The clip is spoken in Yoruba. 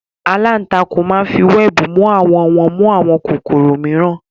aláǹtakùn máa ń fi wẹẹbu mu àwọ̀n wọn mú àwọn kòkòrò mìíràn